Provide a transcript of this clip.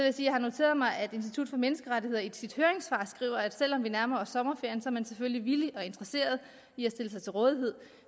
at jeg har noteret mig at institut for menneskerettigheder i sit høringssvar skriver at selv om vi nærmer os sommerferien er man selvfølgelig villig og interesseret i at stille sig til rådighed